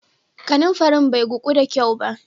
Kananfarin bai guku da kyau.